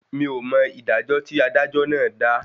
Mí ò mọ ìdájọ́ tí adájọ́ náà dà